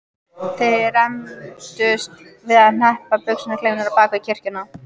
Þeir rembdust við að hneppa buxnaklaufunum á bak við kirkjuna.